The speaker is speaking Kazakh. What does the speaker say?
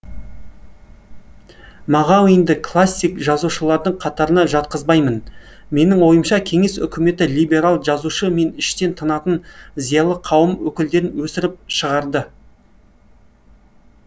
мағауинді классик жазушылардың қатарына жатқызбаймын менің ойымша кеңес үкіметі либерал жазушы мен іштен тынатын зиялы қауым өкілдерін өсіріп шығарды